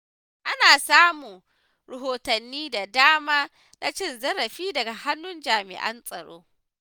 Ana samun rahotanni da dama na cin zarafi daga hannun jami’an tsaro.